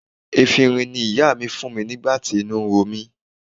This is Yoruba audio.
Efinrin ni ìyá mi fún mi nígbà tí inú ro mí.